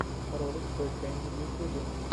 ролик той кэнди в ютюбе